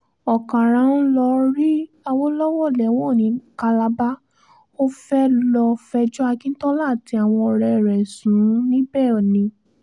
ọ̀kàrá ń lọọ́ rí awolowo lẹ́wọ̀n ní calabar ó fẹ́ẹ́ lọ́ọ́ fẹjọ́ akíntola àti àwọn ọ̀rẹ́ rẹ̀ sùn níbẹ̀ ni